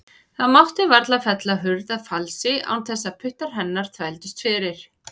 Það mátti varla fella hurð að falsi án þess að puttar hennar þvældust fyrir.